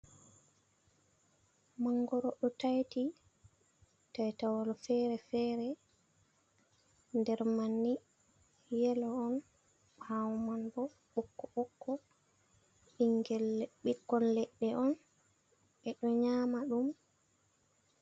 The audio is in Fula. Manngoro ɗo taiti taitawol fere-fere, nder manni "yelo" on ɓaawo man bo ɓokko-ɓokko, ɓinngel led ɓikkon leɗɗe on, ɓe ɗo nyama ɗum.